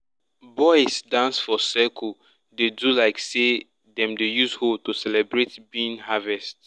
boys dance for circle dey do like say dem dey use hoe to celebrate bean harvest.